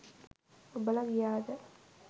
ඔබලා ගියාද?